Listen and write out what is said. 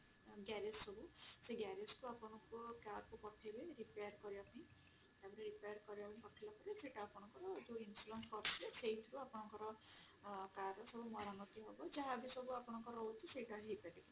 garage ସବୁ ସେ garage ଆପଣଙ୍କର carକୁ ପଠେଇଲେ repair କରିବାପାଇଁ ତାପରେ repair କରିବା ପାଇଁ ପଠେଇଲା ପରେ ସେଟା ଆପଣଙ୍କର ଯୋଉ insurance କରିଥିବେ ଆପଣଙ୍କର car ସବୁ ମରାମତି ହବ ଯାହାବି ସବୁ ଆପଣଙ୍କର ରହୁଛି ସେଟା ବି ହେଇପାରିବ